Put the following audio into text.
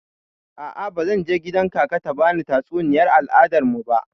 A'a, bazan je kgidan kaka ta bani tatsuniyar al'adar mu ba.